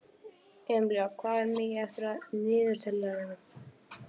Amilía, hvað er mikið eftir af niðurteljaranum?